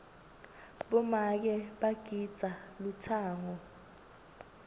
bomake bagidza lutsango